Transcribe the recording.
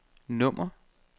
nummer